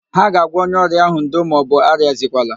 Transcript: Ha ga-agwa onye ọrịa ahụ,"ndo maọbụ arịazikwala"